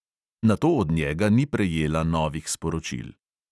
Nato od njega ni prejela novih sporočil.